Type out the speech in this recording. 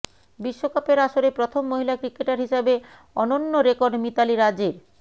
বিশ্বকাপের আসরে প্রথম মহিলা ক্রিকেটার হিসাবে অনন্য রেকর্ড মিতালি রাজের